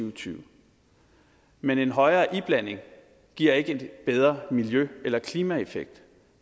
og tyve men en højere iblanding giver ikke en bedre miljø eller klimaeffekt